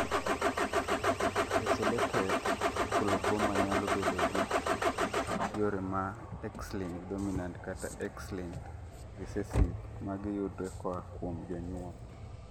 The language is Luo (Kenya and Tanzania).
isolated coloboma nyalo bedogi yore ma X-linked dominant kata X-linked recessive mag yudre koa kuom jonyuol